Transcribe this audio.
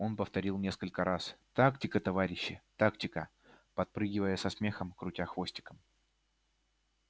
он повторил несколько раз тактика товарищи тактика подпрыгивая и со смехом крутя хвостиком